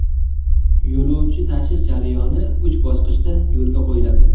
Yo‘lovchi tashish jarayoni uch bosqichda yo‘lga qo‘yiladi.